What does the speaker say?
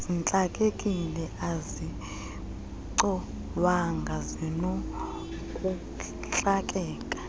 zintlakekile azicolwanga zinokuntlakeka